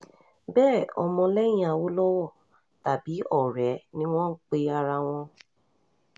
bẹ́ẹ̀ ọmọlẹ́yìn awolowo tàbí ọ̀rẹ́ ẹ̀ ni wọ́n ń pe ara wọn